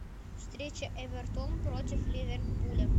встреча эвертон против ливерпуля